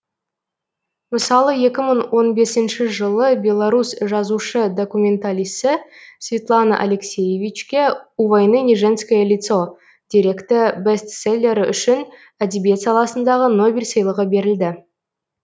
мысалы екі мың он бесінші жылы беларус жазушы документалисі светлана алексиевичке у войны не женское лицо деректі бестселлері үшін әдебиет саласындағы нобель сыйлығы берілді